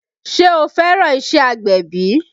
Ṣe o fẹ́ràn iṣẹ́ agbẹ̀bí?